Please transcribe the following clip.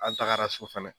An tagara so fana